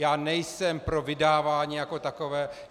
Já nejsem pro vydávání jako takové.